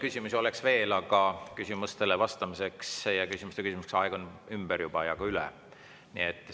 Küsimusi oleks veel, aga küsimustele vastamise ja küsimuste küsimise aeg on juba ja ka üle.